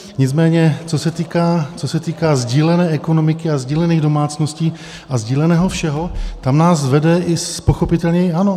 Nicméně co se týká sdílené ekonomiky a sdílených domácností a sdíleného všeho, tam nás vede pochopitelně i ANO.